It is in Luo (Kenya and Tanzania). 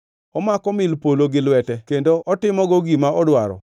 Omako mil polo gi lwete kendo otimogo gima odwaro.